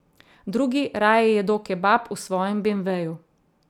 Drugi raje jedo kebab v svojem beemveju.